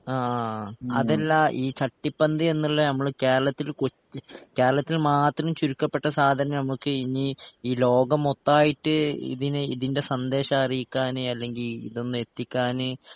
ആ അതല്ല ഈ ചട്ടിപ്പന്ത് എന്ന്ള്ള നമ്മള് കേരളത്തില് കൊച്ച് കേരളത്തില് മാത്രം ചുരുക്കപ്പെട്ട സാധനം നമുക്ക് ഇനി ഈ ലോകം മൊത്തായിട്ട് ഇതിന് ഇതിൻ്റെ സന്ദേശറിയിക്കാന് അല്ലെങ്കി ഇതൊന്ന് എത്തിക്കാന്